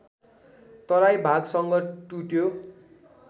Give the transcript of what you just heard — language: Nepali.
तराई भागसँग टुट्यो